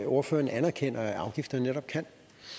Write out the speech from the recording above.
ordføreren anerkender afgifter netop kan